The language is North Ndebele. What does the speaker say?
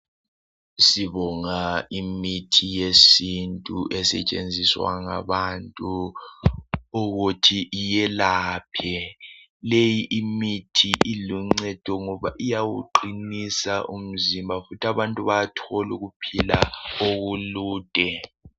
Sibonga imithi yesintu esetshenziswa ngabantu ukuthi iyelaphe, leyi imithi iluncedo ngoba iyawuqinisa umzimba futhi abantu bayathola ukuphila okulude